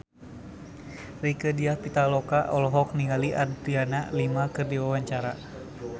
Rieke Diah Pitaloka olohok ningali Adriana Lima keur diwawancara